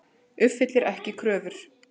Uppfyllir ekki kröfur